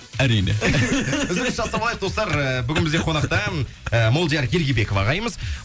әрине үзіліс жасап алайық достар ы бүгін бізде қонақта м молдияр ергебеков ағайымыз